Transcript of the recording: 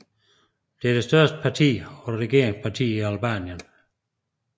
Det er det største parti og regeringsparti i Albanien